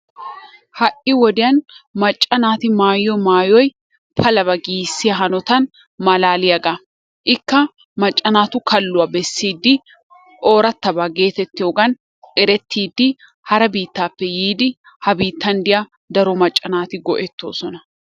Ha'i wodiyaan macca naati maayyiyo maayyoy palabba giissiya hanotan malalliyaaga. Ikka macca naatu kalluwaa bessidi, ooratabba getettiyoogan erettidi, hara biittappe yiidi ha biittan diya daro macca naati go''ettoosona,